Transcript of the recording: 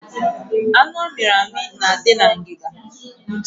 Anụ a miri amị na adị na ngiga